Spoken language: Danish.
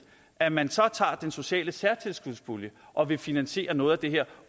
at man tager den sociale særtilskudspulje og vil finansiere noget af det her